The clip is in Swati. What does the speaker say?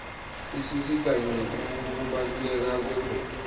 isisita ngekubaluleka kwemvelo